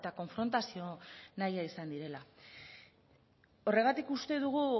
konfrontazio nahia izan direla horregatik uste dugu